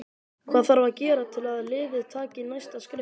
Hvað þarf að gera til að liðið taki næsta skref?